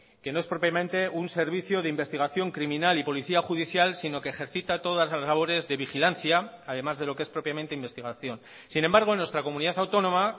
que no es propiamente un servicio de investigación criminal y policía judicial sino que ejercita todas las labores de vigilancia además de lo que es propiamente investigación sin embargo en nuestra comunidad autónoma